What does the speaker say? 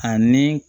Ani